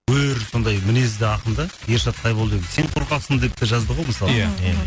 өр сондай мінезді ақын да ершат қайболдин сен қорқақсың деп те жазды ғой мысалы иә мхм